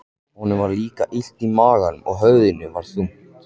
Honum var líka illt í maganum og höfuðið var þungt.